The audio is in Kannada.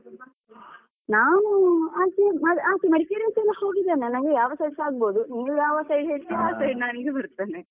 ನಾನು ಆಚೆ ಆಚೆ Madikeri ಯಲ್ಲ ಹೋಗಿದ್ದೇನೆ ನಂಗೆ ಯಾವ್ side ಸ ಆಗ್ಬೋದು. ನೀವ್ ಯಾವ side ಹೇಳ್ತೀರಾ ಆ side ನಾನ್ ಬರ್ತೇನೆ.